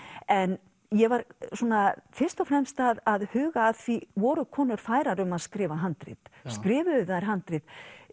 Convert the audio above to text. en ég var svona fyrst og fremst að huga að því voru konur færar um að skrifa handrit skrifuðu þær handrit